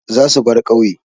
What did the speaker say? Za su bar ƙauye.